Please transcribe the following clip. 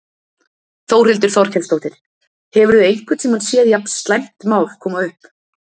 Þórhildur Þorkelsdóttir: Hefurðu einhvern tímann séð jafn slæmt mál koma upp?